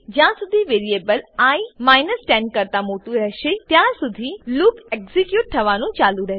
જ્યાંસુધી variable i 10 કરતા મોટું રહેશે ત્યાંસુધી લૂપ એક્ઝીક્યુટ થવાનું ચાલુ રહેશે